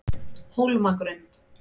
Hólmagrund